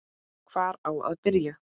Hvar á að byrja?